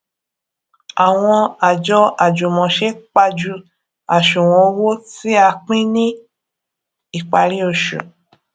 àwọn àjọ àjùmòse pajú àṣùwòn owó tí a pín ní ìparí oṣù